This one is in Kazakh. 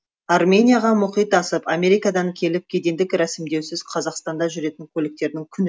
арменияға мұхит асып америкадан келіп кедендік рәсімдеусіз қазақстанда жүретін көліктердің күні